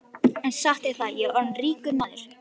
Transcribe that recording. En satt er það, ég er orðinn ríkur maður.